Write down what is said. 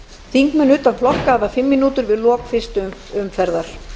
þingmenn utan flokka hafa fimm mínútur við lok fyrstu umferðar